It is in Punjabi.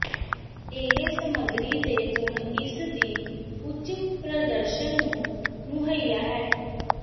ਇਹ ਸਮੱਗਰੀ ਦੇ ਗੁਣ ਇਸ ਦੀ ਉੱਚ ਪ੍ਰਦਰਸ਼ਨ ਨੂੰ ਮੁਹੱਈਆ ਹੈ